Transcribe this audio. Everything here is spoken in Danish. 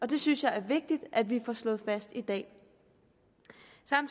det synes jeg er vigtigt at vi får slået fast i dag